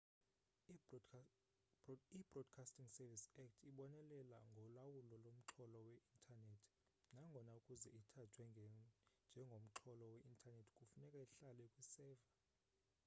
ibroadcasting services act ibonelela ngolawulo lomxholo we-intanethi nangona ukuze ithathwe njengomxholo we-intanethi kufuneka ihlale kwiseva